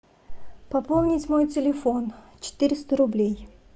пополнить мой телефон четыреста рублей